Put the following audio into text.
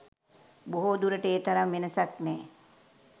බොහෝදුරට ඒ තරම් වෙනසක් නෑ.